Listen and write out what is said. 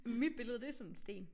Mit billede det sådan en sten